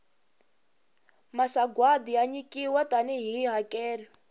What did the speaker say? masagwati ya nyikiwa tani hi hakelo